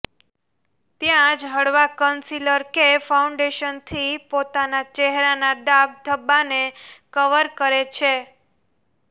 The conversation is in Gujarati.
ત્યાં જ હળવા કંસીલર કે ફાઉન્ડેશન થી પોતાના ચેહરાના દાગ ધબ્બાને કવર કરે છે